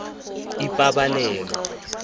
ipabalelo